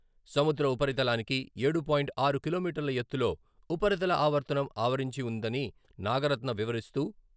సముద్ర ఉపరితలానికి ఏడూ పాయింట్ ఆరు కిలోమీటర్ల ఎత్తులో ఉపరితల ఆవర్తనం ఆవరించి వుందని నాగరత్న వివరిస్తూ.......